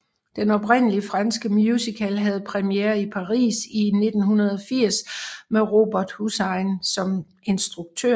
Den oprindelige franske musical havde premiere i Paris i 1980 med Robert Hossein som instruktør